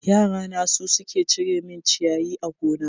Yara na su suke cire min ciyayi a gona.